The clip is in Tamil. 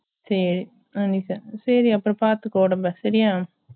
சேரி உம் சேரி அப்போ பாத்துக்கோ உடம்பா சரியா